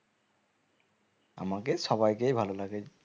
আমাকে সবাইকেই ভালো লাগে